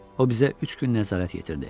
O bizə üç gün nəzarət yetirdi.